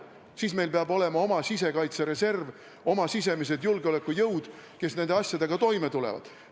Siis peab meil olema oma sisekaitsereserv, oma sisemised julgeolekujõud, kes nende asjadega toime tulevad.